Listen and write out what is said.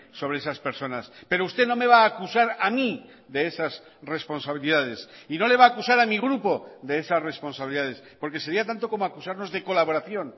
sobre esas personas pero usted no me va a acusar a mí de esas responsabilidades y no le va a acusar a mi grupo de esas responsabilidades porque sería tanto como acusarnos de colaboración